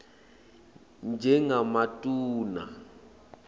njengematuna